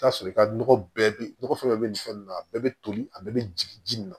I bi t'a sɔrɔ i ka nɔgɔ bɛɛ nɔgɔ fɛn dɔ be nin fɛn ninnu na a bɛɛ be toli a bɛɛ be jigin ji nin na